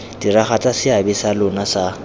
diragatsa seabe sa lona sa